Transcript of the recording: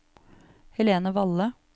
Helene Valle